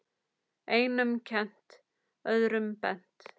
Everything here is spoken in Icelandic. Einum kennt, öðrum bent.